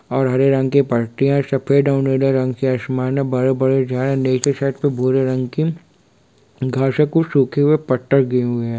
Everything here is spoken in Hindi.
और हरे रंग की पत्तियां और सफेद नीले रंग की आसमान है बड़े-बड़े झाड़े नीचे साइड पे भूरे रंग की घर से कुछ सूखे हुए पत्ते गिरे हुए है।